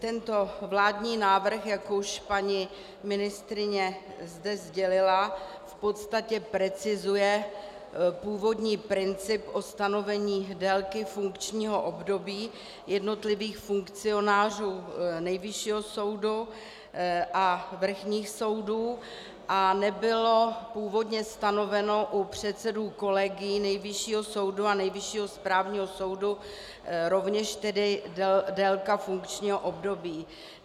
Tento vládní návrh, jak už paní ministryně zde sdělila, v podstatě precizuje původní princip o stanovení délky funkčního období jednotlivých funkcionářů Nejvyššího soudu a vrchních soudů a nebyla původně stanovena u předsedů kolegií Nejvyššího soudu a Nejvyššího správního soudu rovněž tedy délka funkčního období.